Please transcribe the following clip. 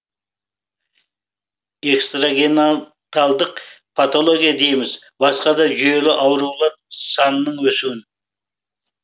экстрагенаталдық патология дейміз басқа да жүйелі аурулар санының өсуі